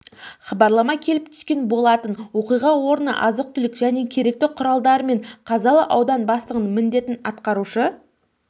хабарлама келіп түскен болатын оқиға орнына азық-түлік және керекті құралдарымен қазалы ауданы бастығының міндетін атқарушы